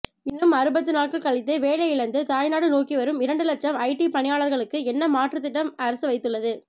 இன்னும் அறுபத்துநாட்கள் கழித்து வேலையிழந்து தாய்நாடு நோக்கிவரும் இரண்டுலட்சம் ஐ டீ பணியாளர்களுக்கு என்ன மாற்று திட்டம் அரசு வைத்துள்ளது